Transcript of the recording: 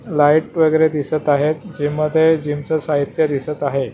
Light वगैरे दिसत आहेत जिममध्ये जिमच साहित्य दिसत आहे.